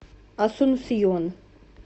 асунсьон